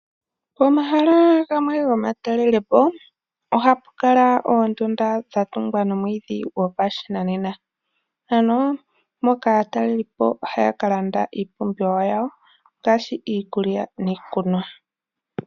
Pomahala gamwe gomatalelepo ohapu kala oondunda dha tungwa nomwiidhi gopashinanena, mpoka aantalelipo haya ka landa iipumbiwa yawo ngaashi iikulya nenge iikunwa.